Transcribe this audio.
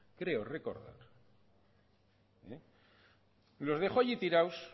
creo recordar los dejó allí tirados